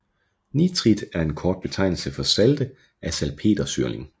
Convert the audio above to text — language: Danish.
Nitrit er en kort betegnelse for salte af salpetersyrling